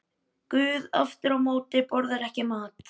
Guð aftur á móti borðar ekki mat.